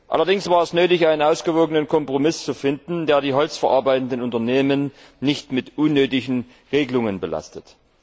Allerdings war es nötig, einen ausgewogenen Kompromiss zu finden, der die holzverarbeitenden Unternehmen nicht mit unnötigen Regelungen belastet.